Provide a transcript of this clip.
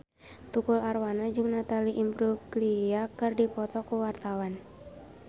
Tukul Arwana jeung Natalie Imbruglia keur dipoto ku wartawan